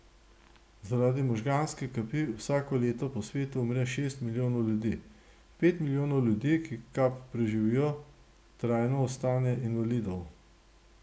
Zaradi možganske kapi vsako leto po svetu umre šest milijonov ljudi, pet milijonov ljudi, ki kap preživijo, trajno ostane invalidov.